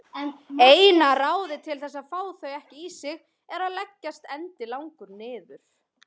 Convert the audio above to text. Eina ráðið til þess að fá þau ekki í sig er að leggjast endilangur niður.